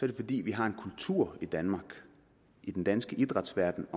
det fordi vi har en kultur i danmark i den danske idrætsverden